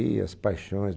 Ih, as paixões.